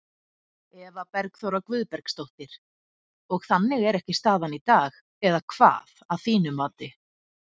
Eva Bergþóra Guðbergsdóttir: Og þannig er ekki staðan í dag eða hvað, að þínu mati?